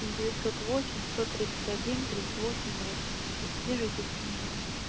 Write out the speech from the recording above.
девятьсот восемь сто тридцать один тридцать восемь восемьдесят свяжитесь со мной